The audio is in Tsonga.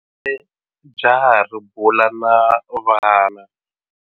Jaha ri bula na vana.